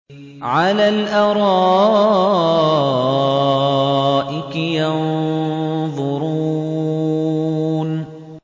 عَلَى الْأَرَائِكِ يَنظُرُونَ